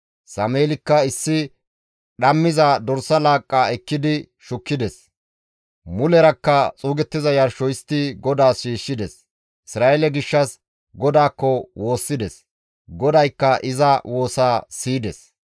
Sameelikka issi dhammiza dorsa laaqqa ekkidi shukkides; mulerakka xuugettiza yarsho histti GODAAS shiishshides; Isra7eele gishshas GODAAKKO woossides; GODAYKKA iza woosaa siyides.